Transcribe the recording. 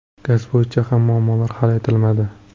Gaz bo‘yicha ham muammolar hal etilmadi.